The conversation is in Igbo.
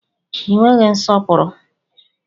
Ị nweghị nsọpụrụ!